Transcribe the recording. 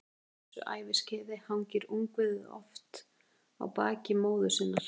Á þessu æviskeiði hangir ungviðið oft á baki móður sinnar.